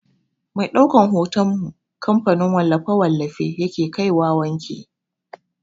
Mai ɗaukan hoton mu kamfanin wallafe-wallafe yake kaiwa wanki.